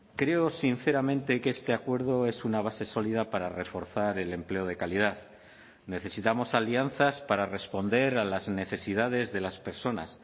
creo sinceramente que este acuerdo es una base sólida para reforzar el empleo de calidad necesitamos alianzas para responder a las necesidades de las personas